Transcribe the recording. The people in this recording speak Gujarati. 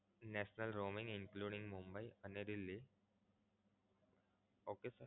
national roaming including Mumbai and Delhi okay